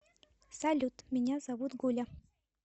салют меня зовут гуля